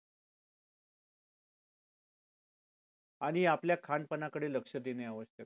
आणि आपल्या खानपानाकडे लक्ष देणे आवश्यक आहे